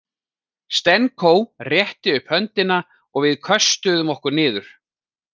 Stenko rétti upp höndina og við köstuðum okkur niður.